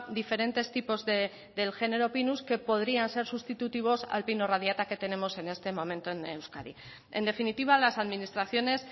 diferentes tipos del género pinus que podrían ser sustitutivos al pino radiata que tenemos en este momento en euskadi en definitiva las administraciones